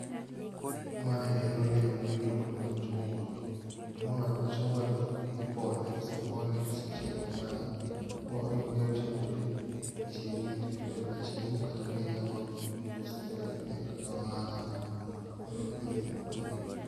Mae en olemo miluongo ni machungwa, to mae machungwani ipone, kosepone kosechiek kamae onyalo tiyo kode e chiemo, inyalo tii kod kaka chiemo kate bende inyalo use e ohala